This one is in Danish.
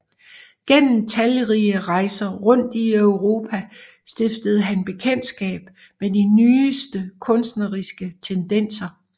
Gennem talrige rejser rundt i Europa stiftede han bekendtskab med de nyeste kunstneriske tendenser